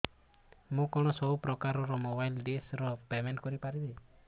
ମୁ କଣ ସବୁ ପ୍ରକାର ର ମୋବାଇଲ୍ ଡିସ୍ ର ପେମେଣ୍ଟ କରି ପାରିବି